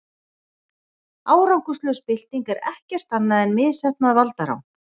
árangurslaus bylting er ekkert annað en misheppnað valdarán